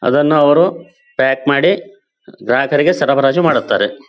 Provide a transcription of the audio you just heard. ಅದನ್ನ ಅವರು ಪ್ಯಾಕ್ ಮಾಡಿ ಗ್ರಾಹಕರಿಗೆ ಸರಬರಾಜು ಮಾಡುತ್ತಾರೆ.